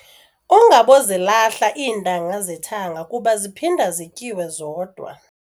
Ungabokuzilahla iintanga zethanga kuba ziphinda zityiwe zodwa.